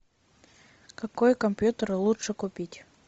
какой компьютер лучше купить